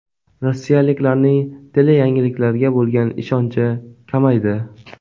Rossiyaliklarning teleyangiliklarga bo‘lgan ishonchi kamaydi .